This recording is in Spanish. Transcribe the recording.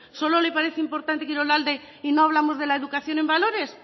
solo le parece importante kirolalde y no hablamos de la educación en valores